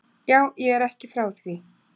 Já, ég er ekki frá því.